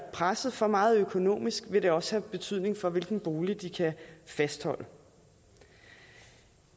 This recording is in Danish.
presset for meget økonomisk vil det også få betydning for hvilken bolig de kan fastholde